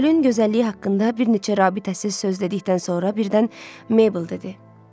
Gölün gözəlliyi haqqında bir neçə rabitəsiz söz dedikdən sonra birdən Mable dedi.